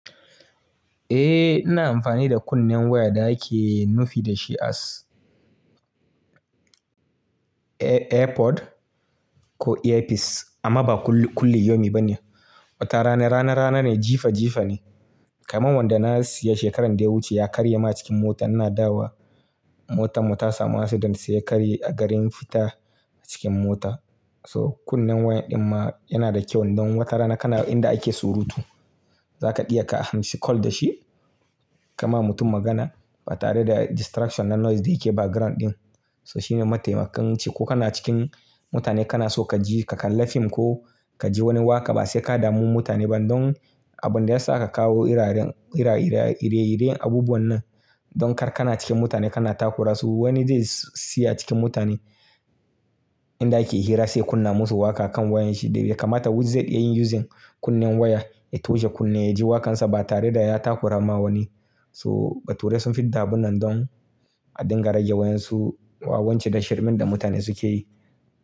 Eh, ina amfani da kunnen waya da ake nufi da shi as AirPod ko Earpiece amma ba kulli kulli yomi ba ne. Wata rana rana rana ne jifa jifa ne. Kaman wanda na siya shekaran da ya wuce ya karye ma cikin mota. Ina dawo motan mu ta samu accident sai ya karye a garin fita cikin mota. So kunnen wayan din ma yana da kyau idon watarana kana inda ake surutu. Zaka iya ka hanshi call da shi ka ma mutum magana ba tare da distraction na noise da yake background din. So shine mataimakan ciki ko kana cikin mutane kana so ka je ka kalla fim ko ka ji wani waƙa ba sai ka damu mutane ba don abun da ya sa aka kawo ire-ire abubuwan nan don kar kana cikin mutane kana takura su. Wani zai siya cikin mutane inda ake hira sai kunna musu waƙa kan wayan shi da ya kamata wuri zai iya yin using kunnen waya ya toshe kunne ya ji waƙan sa ba tare da ya takura ma wani. So bature sun fid da abun nan don a dinga rage wayan su wawancin tasharmin da mutane suke yi.